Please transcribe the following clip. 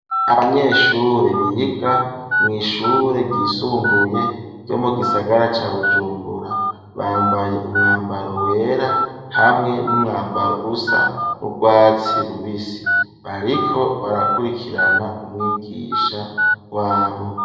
Abanyeshure biga mw'ishure ryisumbuye ryo mu gisagara ca Bujumbura bambaye umwambaro wera hamwe n'umwambaro usa n'urwatsi rubisi bariko barakurikirana umwigisha wabo.